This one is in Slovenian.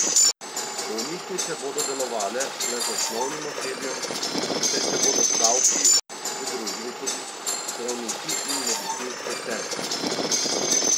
Bolnišnice bodo delovale le z osnovnim osebjem, saj se bodo stavki pridružili tudi zdravniki in medicinske sestre.